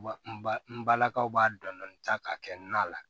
Ba n ba n balakaw b'a dɔn dɔni ta ka kɛ nan la